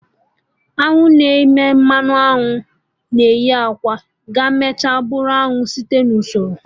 Añụ na-emete mmanụ aṅụ na-eyi akwa ga emecha bụrụ anụ site na usoro